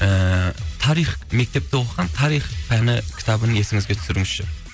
ііі тарих мектепте оқыған тарих пәні кітабын есіңізге түсіріңізші